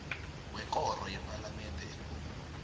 wekoro yepalamende ekulu